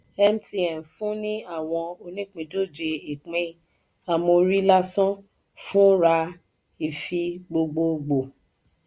mtn fún ní àwọn onípindòjé ìpín ámórì lásán fún ra ifi gbogbogboo.